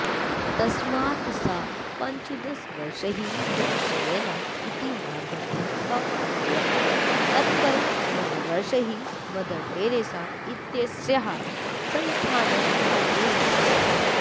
तस्मात् सा पञ्चदशवर्षैः विपश्यना इति मार्गम् अपालयत् तत्परं नववर्षैः मदरटेरेसा इत्यस्याः संस्थाम् असेवत च